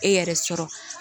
E yɛrɛ sɔrɔ